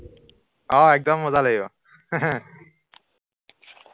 অ একদম মজা লাগিব